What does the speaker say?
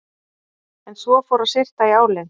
En svo fór að syrta í álinn.